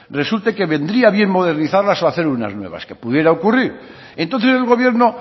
resulte que vendría bien modernizarlas o hacer unas nuevas que pudiera ocurrir entonces el gobierno